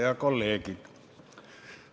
Head kolleegid!